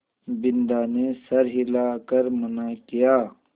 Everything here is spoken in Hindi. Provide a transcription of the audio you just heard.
बिन्दा ने सर हिला कर मना किया